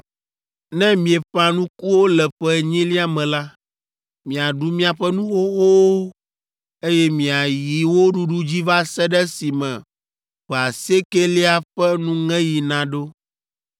Ne mieƒã nukuwo le ƒe enyilia me la, miaɖu miaƒe nu xoxowo, eye miayi wo ɖuɖu dzi va se ɖe esime ƒe asiekɛlia ƒe nuŋeɣi naɖo.